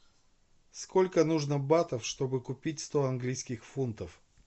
сколько нужно батов чтобы купить сто английских фунтов